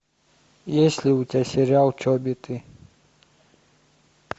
есть ли у тебя сериал чобиты